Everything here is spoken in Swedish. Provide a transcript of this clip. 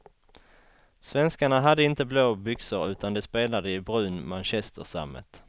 Svenskarna hade inte blå byxor utan de spelade i brun manchestersammet.